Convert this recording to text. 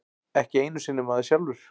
Ekki einu sinni maður sjálfur.